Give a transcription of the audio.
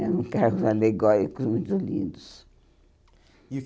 Eram carros alegóricos, muito lindos. E o